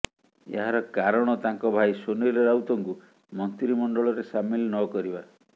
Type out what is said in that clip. ଏହାର କାରଣ ତାଙ୍କ ଭାଇ ସୁନୀଲ ରାଉତଙ୍କୁ ମନ୍ତ୍ରିମଣ୍ଡଳରେ ସାମିଲ୍ ନକରିବା